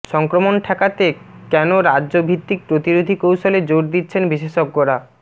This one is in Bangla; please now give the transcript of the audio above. সংক্রমণ ঠেকাতে কেন রাজ্য ভিত্তিক প্রতিরোধী কৌশলে জোর দিচ্ছেন বিশেষজ্ঞরা